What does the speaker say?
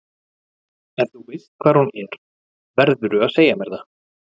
Ef þú veist hvar hún er verðurðu að segja mér það.